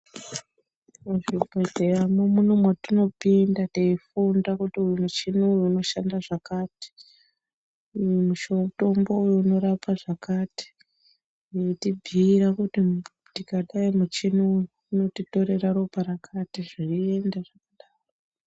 Muzvibhedhleya mo ndomatinopinda teifunda kuti uyu muchini uyu unoshanda zvakati uyu mutombo uyu unorapa zvakati nekutibhuira kuti tikadai muchini uyu unotitorera ropa rakati zveienda zvakadaro .